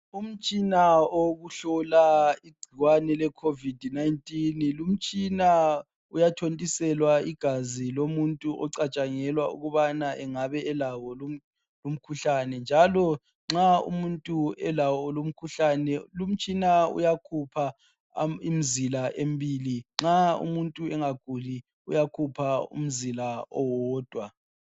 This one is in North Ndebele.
Umtshina wokuhlola igcikwane ke Covid 19, lumtshina uyathontiselwa igazi lomuntu ocatshangelwa ukubana engabe elawo lumkhuhlane njalo nxa umuntu elawo lumkhuhlane uyakhupha imzila embili. Nxa umuntu engaguli uyakhupha umzila owodwa.